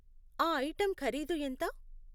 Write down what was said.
ఆ ఐటెం ఖరీదు ఎంత?